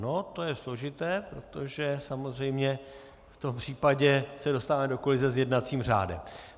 No, to je složité, protože samozřejmě v tom případě se dostáváme do kolize s jednacím řádem.